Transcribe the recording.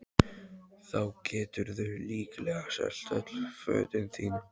Þá geturðu líklega selt öll fötin þín